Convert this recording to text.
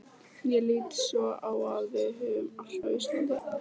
Ég lít svo á að við höfum allt á Íslandi.